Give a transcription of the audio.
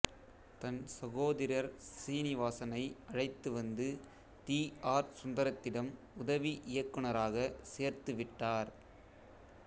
தன் சகோதிரர் சீனிவாசனை அழைத்துவந்து டி ஆர் சுந்தரத்திடம் உதவி இயக்குநராக சேர்த்துவிட்டார்